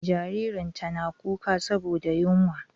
Jaririn tana kuka saboda yunwa.